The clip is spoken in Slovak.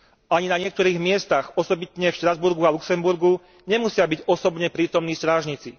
Ani na niektorých miestach, osobitne v Štrasburgu a v Luxemburgu, nemusia byť osobne prítomní strážnici.